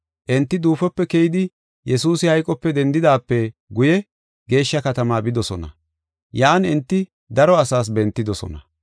Enti duufope keyidi, Yesuusi hayqope dendidaape guye, geeshsha katamaa bidosona; yan enti daro asaas bentidosona.